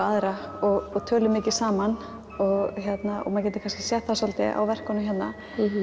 aðra og tölum mikið saman og maður getur kannski séð það svolítið á verkunum hérna